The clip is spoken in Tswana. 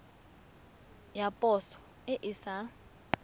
ya poso e e sa